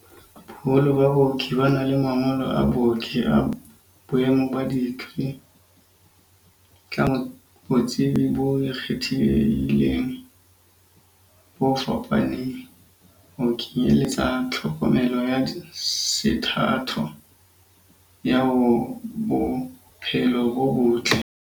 Boholo ba baoki ba na le mangolo a booki a boemo ba dikri, ka botsebi bo ikgethileng bo fapaneng, ho kenyeletsa tlhokomelo ya sethatho ya bo phelo bo botle.